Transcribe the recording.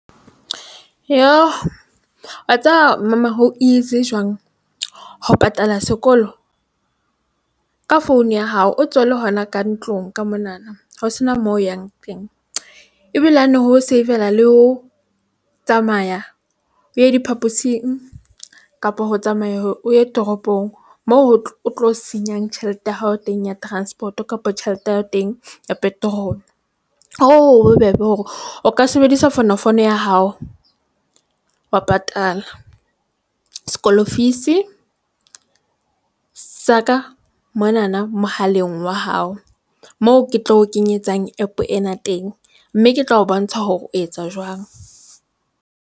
Wa tseba Mama, ho easy jwang ho patala sekolo ka founu ya hao? O tsole hona ka ntlong ka monana. Ho sena moo o yang teng ebile ho no ho savela. Le ho tsamaya o ye diphaposing kapa ho tsamaya o ye toropong moo ho o tlo senyang tjhelete ya hao teng ya transport, kapa tjhelete ya hao teng ya petrol. Hoo ho bobebe hore o ka sebedisa fonofono ya hao wa patala sekolo fees sa ka monana mohaleng wa hao moo ke tlo kenyetsang app ena teng, mme ke tla o bontsha hore o etsa jwang.